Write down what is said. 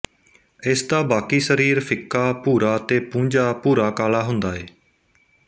ਇਸਦਾ ਬਾਕੀ ਸਰੀਰ ਫਿੱਕਾ ਭੂਰਾ ਤੇ ਪੂੰਝਾ ਭੂਰਾਕਾਲ਼ਾ ਹੁੰਦਾ ਏ